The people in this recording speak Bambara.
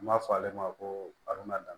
N b'a fɔ ale ma ko arabula dan